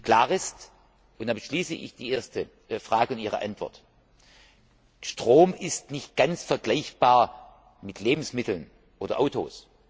Klar ist und damit schließe ich die erste Frage und ihre Antwort Strom ist nicht ganz vergleichbar mit Lebensmitteln oder Autos.